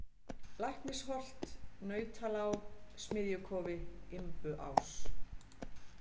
Læknisholt, Nautalág, Smiðjukofi, Imbuás